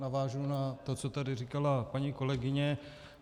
Navážu na to, co tady říkala paní kolegyně.